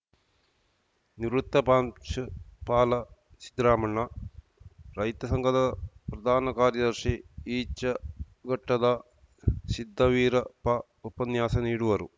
ನಿವೃತ್ತ ಪ್ರಾಂಶುಪಾಲ ಸಿದ್ದರಾಮಣ್ಣ ರೈತ ಸಂಘದ ಪ್ರಧಾನ ಕಾರ್ಯದರ್ಶಿ ಈಚಗಟ್ಟದ ಸಿದ್ದವೀರಪ್ಪ ಉಪನ್ಯಾಸ ನೀಡುವರು